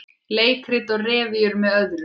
Leikrit og revíur með öðrum